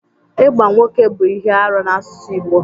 Ịgba nwoke bụ ihe arụ n'asụsụ Igbo